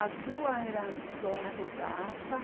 As duas eram donas de casa.